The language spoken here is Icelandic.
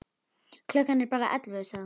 Klukkan er bara ellefu, sagði hún.